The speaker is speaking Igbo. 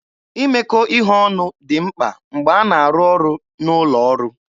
Imekọ ihe ọnụ dị mkpa mgbe a na-arụ ọrụ n'ụlọ ọrụ.